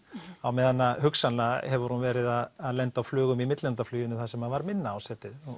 á meðan hugsanlega hefur hún verið að lenda á flugum í millilandafluginu þar sem var minna ásetið nú